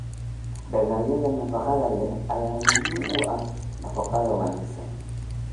Dalagyada nafaqada leh ayaa muhiim u ah nafaqada wanaagsan.